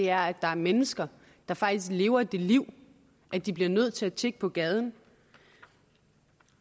er at der er mennesker der faktisk lever det liv at de bliver nødt til at tigge på gaden